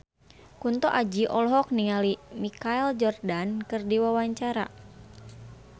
Kunto Aji olohok ningali Michael Jordan keur diwawancara